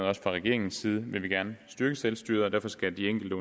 også fra regeringens side vil vi gerne styrke selvstyret og derfor skal de enkelte